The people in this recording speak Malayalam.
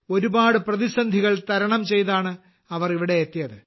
ഒരുപാട് പ്രതിസന്ധികൾ തരണം ചെയ്താണ് അവർ ഇവിടെ എത്തിയത്